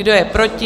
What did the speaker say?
Kdo je proti?